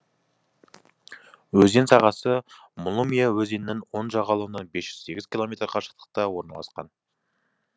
өзен сағасы мулымья өзенінің оң жағалауынан бес жүз сегіз километр қашықтықта орналасқан